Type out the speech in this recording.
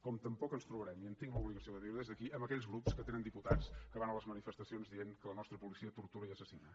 com tampoc ens trobarem i en tinc l’obligació de dir ho des d’aquí amb aquells grups que tenen diputats que van a les manifestacions dient que la nostra policia tortura i assassina